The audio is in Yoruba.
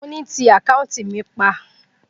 Mo ni, pa àkáùntì mi pa!